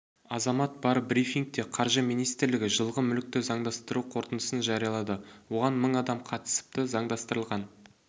азамат бар брифингте қаржы министрлігі жылғы мүлікті заңдастыру қорытындысын жариялады оған мың адам қатысыпты заңдастырылған